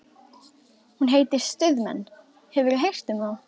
Hún heitir Stuðmenn, hefurðu heyrt um þá?